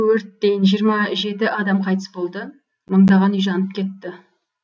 өрттен жиырма жеті адам қайтыс болды мыңдаған үй жанып кетті